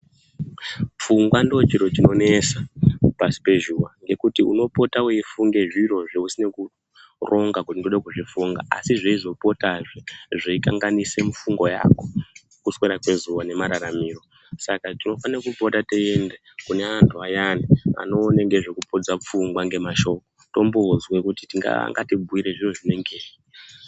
Pfungwa ndochiro chinonesa pashi pezuwa ngekuti unopota weifunge zviro zveusinana kuronga kuti ndode kuzvifunga, asi zveizopotazve zveikanganisa mifungo yako. Kuswera kwezuwa nemararamiro, saka tinofane kupota teienda kune antu ayani anoone ngezvekupodza pfungwa ngemashoko timboozwe kuti angatibhuira zviro zvinengei.